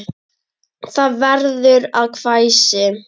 Það verður að hvæsi.